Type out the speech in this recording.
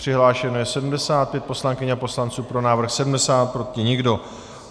Přihlášeno je 75 poslankyň a poslanců, pro návrh 70, proti nikdo.